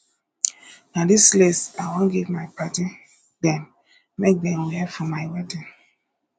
na dis lace i wan give my padddy dem make dem wear for my wedding